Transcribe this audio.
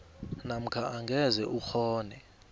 namkha angeze ukghone